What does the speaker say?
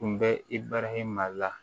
Kun bɛ i barahima la